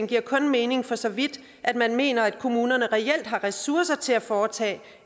giver kun mening for så vidt man mener at kommunerne reelt har ressourcer til at foretage